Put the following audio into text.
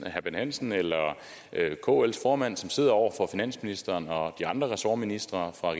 herre bent hansen eller kls formand sidder over for finansministeren og de andre ressortministre fra